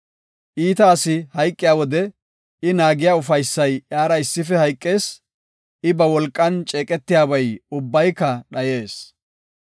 Iita asi hayqiya wode, I naagiya ufaysay iyara issife hayqees; I ba wolqan ceeqetiyabay ubbayka dhayees.